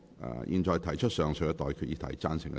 我現在向各位提出上述待決議題。